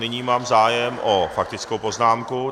Nyní mám zájem o faktickou poznámku.